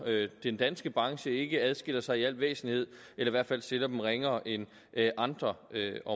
den danske branche ikke adskiller sig i al væsentlighed eller i hvert fald ikke stiller den ringere end andre